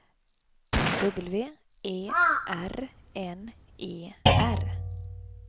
W E R N E R